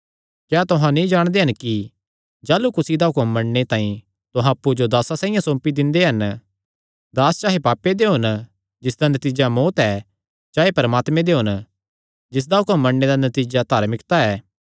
क्या तुहां नीं जाणदे हन कि जाह़लू कुसी दा हुक्म मन्नणे तांई तुहां अप्पु जो दासां साइआं सौंपी दिंदे हन दास चाहे पापे दे होन जिसदा नतीजा मौत्त ऐ चाहे परमात्मे दे होन जिसदा हुक्म मन्नणे दा नतीजा धार्मिकता ऐ